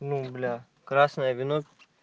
ну бля красное вино